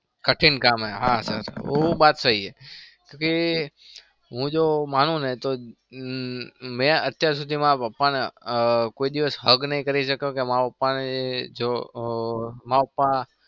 કઢીન કામ હૈ હા sir વો બાત સહી હે ક્યુંકી હું જો માનું ને તો મેં અત્યાર સુધી મારા પાપાને કોઈ દિવસ hug નહી કરી શક્યો કે મારા પાપા ને જો માર પાપા